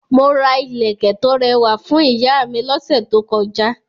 Mo ra ilẹ̀kẹ̀ tó rẹwà fún ìyá mi lọ́sẹ̀ tó kọjá.